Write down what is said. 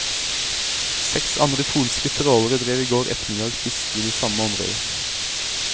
Seks andre polske trålere drev i går ettermiddag fiske i det samme området.